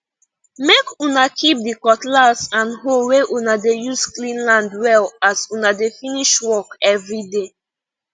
make una keep the cutlass and hoe wey una dey use clean land well as una dey finsh work everyday